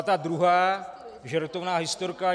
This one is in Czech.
A ta druhá, žertovná, historka.